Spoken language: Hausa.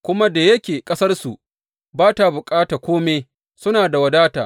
Kuma da yake ƙasarsu ba ta bukata kome, suna da wadata.